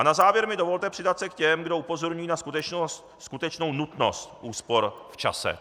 A na závěr mi dovolte přidat se k těm, kdo upozorňují na skutečnou nutnost úspor v čase.